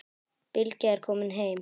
Bylgja er komin heim.